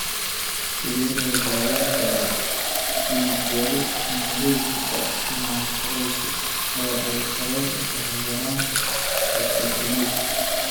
Sidee loo daweyn karaa dig yari hemolytika nonspherocytic oo ay sabab u tahay yaraanta hexokinase?